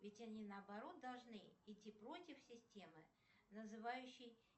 ведь они наоборот должны идти против системы называющей